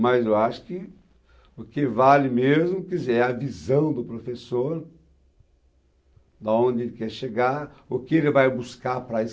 Mas eu acho que o que vale mesmo, quer dizer, é a visão do professor, de onde ele quer chegar, o que ele vai buscar para isso.